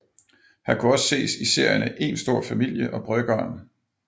Han kunne også ses i serierne Een stor familie og Bryggeren